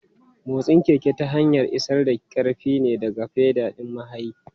Motsin keke ta hanyar isar da ƙarfi ne daga fedal ɗin mahayi.